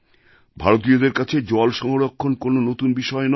ভারতীয়দের কাছে জল সংরক্ষণ কোনও নতুন বিষয় নয়